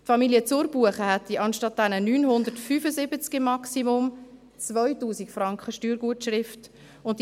Familie Zurbuchen hätte, anstatt eines Maximums von 975 Franken, eine Steuergutschrift von 2000 Franken.